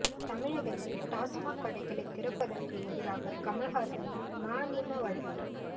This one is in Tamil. தமிழகத்தில் டாஸ்மாக் கடைகளை திறப்பதற்கு எதிராக கமல் ஹாசனின் மநீம வழக்கு